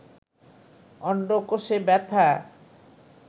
অন্ডকোষে ব্যাথা